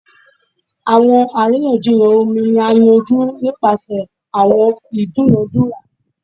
Awọn ariyanjiyan omi ni a yanju nipasẹ awọn idunadura